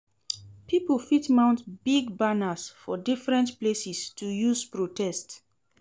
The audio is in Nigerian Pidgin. Pipo fit mount big banners for different places to use protest